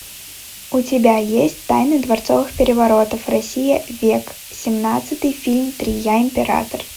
у тебя есть тайны дворцовых переворотов россия век семнадцатый фильм три я император